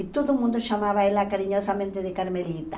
E todo mundo chamava ela carinhosamente de Carmelita.